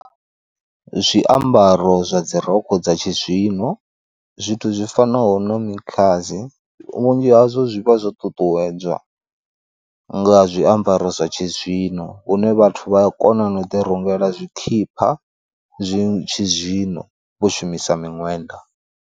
Zwiambaro zwa dzirokho dza tshizwino zwithu zwi fanaho na mikhazi, vhunzhi hazwo zwi vha zwo ṱuṱuwedzwa nga zwiambaro zwa tshizwino hune vhathu vhaya kona na u ḓi rungela tshikhipha zwi tshi zwino vho shumisa miṅwenda.